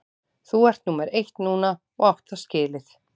Þú ert númer eitt núna og átt það skilið.